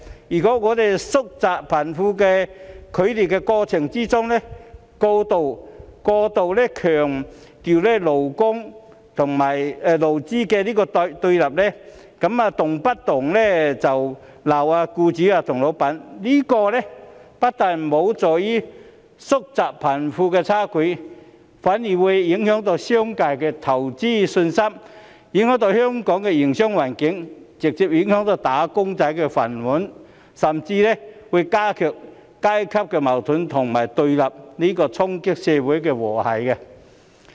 如果我們在縮窄貧富差距的過程中，過度強調勞資雙方的對立，動不動就斥責僱主和老闆，這樣不但無助縮窄貧富差距，反而會影響商界的投資信心，影響香港的營商環境，直接影響"打工仔"的飯碗，甚至會加劇階級矛盾和對立，衝擊社會和諧。